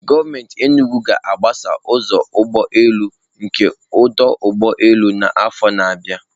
Gọọmenti Enugwu ga-agbasa ụzọ ụgbọ elu nke ọdụ ụgbọ elu n'afọ na-abịa.